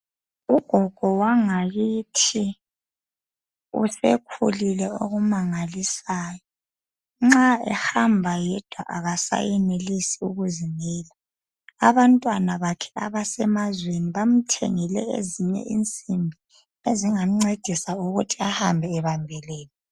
Ugogo wangakithi usekhulile okumangalisayo nxa ehamba yedwa akasayenelisi ukuzimela abantwana bakhe abasemazweni bamthengele ezinye insimbi ezingamncedisa ukuthi ahambe ebambelele.